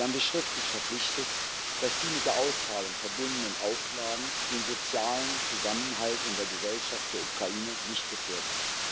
Sie haben sich schriftlich verpflichtet, dass die mit der Auszahlung verbundenen Auflagen den sozialen Zusammenhalt in der Gesellschaft der Ukraine nicht gefährden.